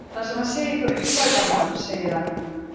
Þar sem hann segir frá upphafi landnáms segir hann: